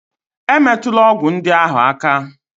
E metula ọgwụ ndị ahụ áká!